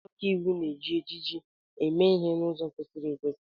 Ndị ọkàiwu na-eji ejiji eme ihe n'ụzọ kwesịrị ekwesị.